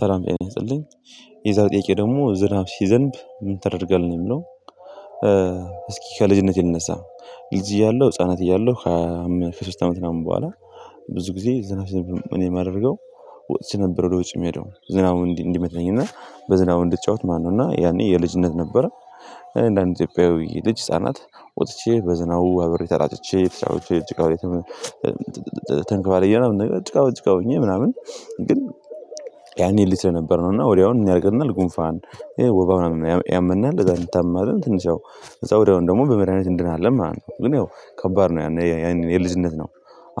ሰላም ጤና ይስጥልኝ። የዛሬው ጥያቄ ደግሞ ዝናብ ሲዘንብ ምን ታደርህ ነው የምለው? እስኪ ከልጅነቴ ልነሳ ልጅ እያለሁ ህፃናት እያለሁ። ከሶስት አመት ምናምን በኋላ። ብዙ ጊዜ ዝናብ እኔ የማደርገው። ወጥቼ ነበር ወደ ውጭ የምሄደው ዝናቡ እንዲህ እንዲመታኝ እና በዝናቡ እንድትጫወት ማነው እና ያኔ የልጅነት ነበረ። እንደ አንድ ኢትዮጵያዊ ልጅ ህፃናት ወጥቼ በዝናው አብሬ ተጣጥቼ ተጫውቼ ጭቃው ተንከባልዬ ምናምን ነገር ጭቃ በጭቃ ሆኜ ምናምን። ግን ያኔ ልጅ ነበርን እና ወዲያውኑ ምን ያደርገናል? ጉንፋን ይሄ ወባ ምናምን ያመናል ከዛ እንታመማለን። ትንሽ ያው እዛ ወዲያውን ደግሞ በመድሃኒት እንድናለን ማለት ነው። ግን ያው ከባድ ነው ያንን የልጅነት ነው።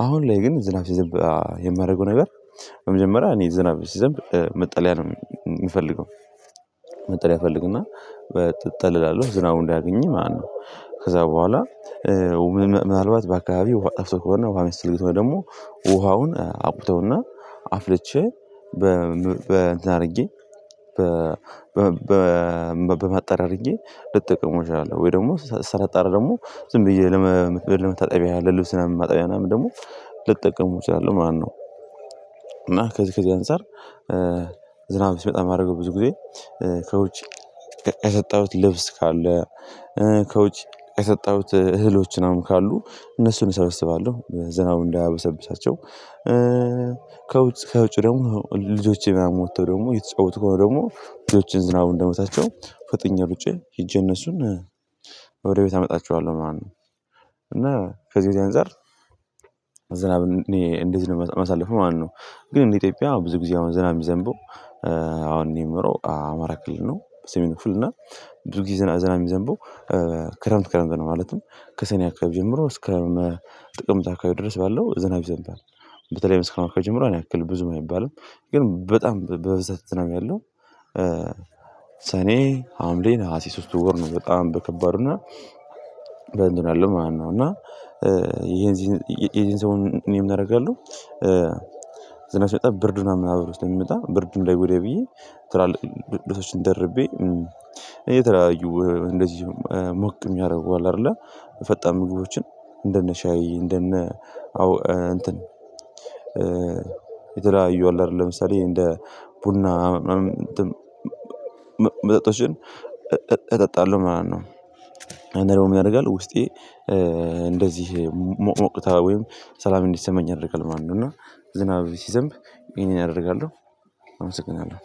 አሁን ላይ ግን ዝናብ የማደርገው ነገር በመጀመሪያ እኔ ዝናብ ሲዘንብ መጠለያ ነው የምፈልገው። መጠለያ ፈልግና ትጠለላለህ ዝራቡ እንዳያገኝህ ማለት ነው። ከዛ በኋላ። ምናልባት በአካባቢው ውሃ አፍቶ ከሆነ ውሃ እስኪመጣ ደግሞ ውሃውን አቁተውና አፍልቼ በም በእንትን አድርጌ። በ በማጣሪዬ አድርጌ ልጠቅመው እችላለሁ? ወይ ደግሞ ሳላጣራ ደግሞ ዝም ብዬ ለመ ለመታጠቢያ ለልብስ ምናምን ማጣቢያ ምናምን ደግሞ ልጠቀሙ እችላለሁ። ማነው እና ከዚህ ከዚህ አንፃር። ዝናብ ሲመጣ የማደርገው ብዙ ጊዜ ከውጭ ያሰጠሁት ልብስ ካለ ከውጭ ያሰጠሁት እህሎች ምናምን ካሉ እነሱን እሰበስባለሁ ዝናቡ እንዳያበሰብሳቸው። ከውጭ ከውጭ ደግሞ ልጆቼ ምናምን ወጥተው ደግሞ የተጫወቱ ከሆነ ደግሞ ልጆቼን ዝናቡ እንደመታቸው ፈጥኜ ሩጬ ሄጄ እነሱን ወደ ቤት አመጣችኋለሁ ማለት ነው። እና ከዚህ ዚህ አንፃር ዝናብ እኔ እንዴት ነው የማሳልፈው ማነው? ግን እንደ ኢትዮጵያ ብዙ ጊዜ አሁን ዝናብ የሚዘንበው። አሁን እኔ የምኖረው አማራ ክልል ነው። በሰሜን ክፍል እና ብዙ ጊዜ ዝና ዝናብ የሚዘንበው ክረምት ክረምት ነው። ማለትም ከሰኔ አካባቢ ጀምሮ እስከ ጥቅምት አካባቢ ድረስ ባለው ዝናብ ይዘንብሃል። በተለይ መስከረም ከጀመረው ያን ያክል ብዙም አይባልም። ግን በጣም በበዛት ዝናብ ያለው ሰኔ ሀምሌ ነሀሴ ሶስቱን ወር ነው። በጣም በከባድ እና ዘንድሮ ያለው እና የዚህን ይሄን ሰሞን እኔም እናደርጋለሁ። ብርድ ምናምን አብሮ ስላሚመጣ ብርዱ እንዳይጎዳኝ ብዬ ትላልቅ ልብሶችን ደርቤ የተለያዩ እንደዚሁም ሞቅ የሚያደርገው አለ አይደለ ፈጣን ሙሉዎችን እንደነ ሻይ እንደነ አዎ እንትን የተለያዩ አለ አይደለ ለምሳሌ እንደ ቡና መጠጣት እጠጣለሁ ማለት ነው። እኔ ደግሞ ምን ያደርጋል ውስጤ? እንደዚህ ሞቅ ሞቅታ ወይም ሰላም እንዲሰማኝ ያደርጋል ማለት ነው። እና ዝናብ ሲዘንብ ይሄንን አደርጋለሁ። አመሰግናለሁ